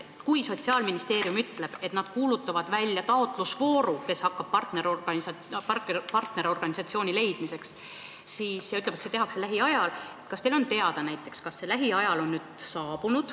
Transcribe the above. Kui Sotsiaalministeerium ütleb, et nad kuulutavad välja taotlusvooru partnerorganisatsiooni leidmiseks, ja ütleb, et otsus tehakse lähiajal, kas teile on teada, millal see "lähiaeg" käes on?